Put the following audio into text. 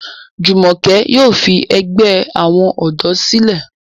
Jumoke yóò fí àgbè àwọn odò sílè.